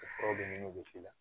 O furaw donniw bɛ k'i la